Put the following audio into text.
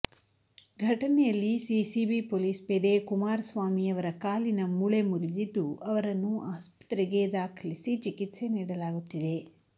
ಘಟನೆಯಲ್ಲಿ CCB police ಪೇದೆ ಕುಮಾರಸ್ವಾಮಿ ಅವರ ಕಾಲಿನ ಮೂಳೆ ಮುರಿದಿದ್ದು ಅವರನ್ನು ಆಸ್ಪತ್ರೆಗೆ ದಾಖಲಿಸಿ ಚಿಕಿತ್ಸೆ ನೀಡಲಾಗುತ್ತಿದೆ